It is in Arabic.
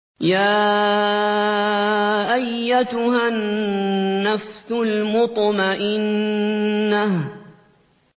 يَا أَيَّتُهَا النَّفْسُ الْمُطْمَئِنَّةُ